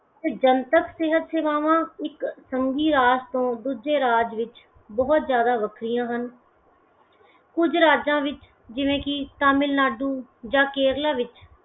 ਜਨਤਕ ਸਿਹਤ ਸੇਵਾਵਾਂ ਇਕ ਸੰਘੀ ਰਾਜ ਤੋਂ ਦੂਜੇ ਰਾਜ ਵਿੱਚ ਬਹੁਤ ਜਿਆਦਾ ਵਖਰੀਆਂ ਹਨ । ਕੁਝ ਰਾਜਾਂ ਵਿਚ ਜਿਵੇਂ ਕਿ ਤਾਮਿਲਨਾਡੂ ਜਾਂ ਕੇਰਲਾ ਵਿੱਚ